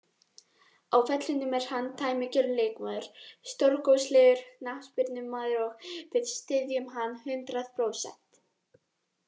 Á vellinum er hann dæmigerður leikmaður, stórkostlegur knattspyrnumaður og við styðjum hann hundrað prósent.